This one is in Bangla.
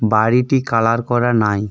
বাড়িটি কালার করা নাই.